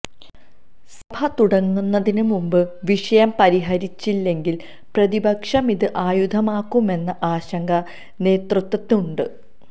സഭ തുടങ്ങുന്നതിന് മുമ്പ് വിഷയം പരിഹരിച്ചില്ലെങ്കിൽ പ്രതിപക്ഷം ഇത് ആയുധമാക്കുമെന്ന ആശങ്ക നേതൃത്വത്തിനുണ്ട്